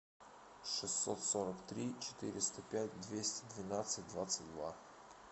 шестьсот сорок три четыреста пять двести двенадцать двадцать два